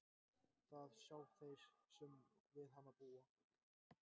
Það sjá þeir sem við hana búa.